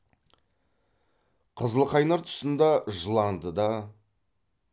қызылқайнар тұсында жыландыда